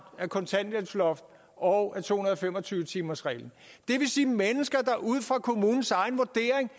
af kontanthjælpsloftet og af to hundrede og fem og tyve timersreglen det vil sige at mennesker der ud fra kommunens egen vurdering